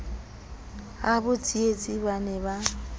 habo tsietsi ba ne ba